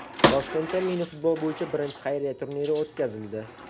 Toshkentda mini-futbol bo‘yicha birinchi xayriya turniri o‘tkazildi.